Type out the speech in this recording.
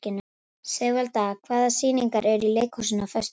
Sigvalda, hvaða sýningar eru í leikhúsinu á föstudaginn?